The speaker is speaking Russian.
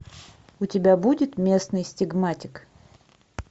у тебя будет местный стигматик